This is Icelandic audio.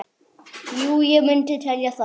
Jú ég myndi telja það.